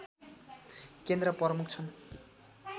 केन्द्र प्रमुख छन्